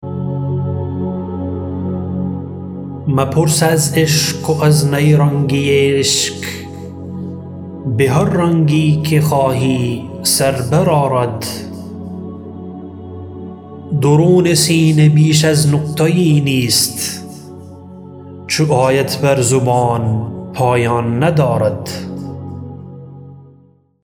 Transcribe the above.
مپرس از عشق و از نیرنگی عشق بهر رنگی که خواهی سر بر آرد درون سینه بیش از نقطه یی نیست چو آید بر زبان پایان ندارد